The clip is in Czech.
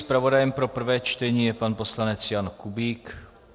Zpravodajem pro prvé čtení je pan poslanec Jan Kubík.